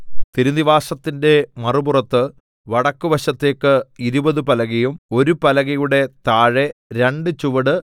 തിരുനിവാസത്തിന്റെ മറുപുറത്ത് വടക്കുവശത്തേക്ക് ഇരുപത് പലകയും ഒരു പലകയുടെ താഴെ രണ്ട് ചുവട്